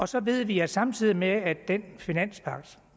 så ved vi at samtidig med at den finanspagt